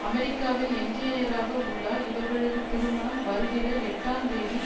அமெரிக்காவில் என்ஜினியராக உள்ளார் இவர்களது திருமணம் வருகிற எட்டுந் தேதி